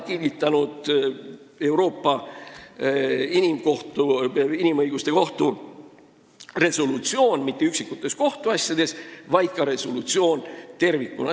Euroopa Inimõiguste Kohus ei kinnita seda mitte üksikutes kohtuasjades, seda kinnitab resolutsioon tervikuna.